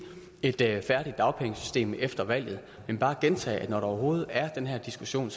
et færdigt dagpengesystem efter valget men bare gentage at når der overhovedet er den her diskussion